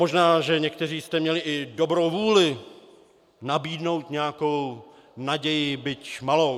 Možná že někteří jste měli i dobrou vůli nabídnout nějakou naději, byť malou.